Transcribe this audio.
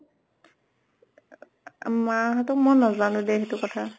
মা হঁতক মই নাজানো দে সেইটো কথা।